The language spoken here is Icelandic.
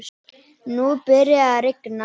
Nú byrjaði að rigna.